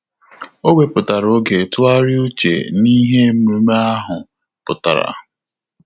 Ọ́ wèpụ̀tárà oge tụ́gharị́a úchè n’íhé ememe ahụ pụ́tàrà.